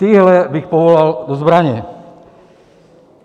Tyhle bych povolal do zbraně.